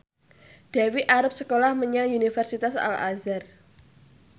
Dewi arep sekolah menyang Universitas Al Azhar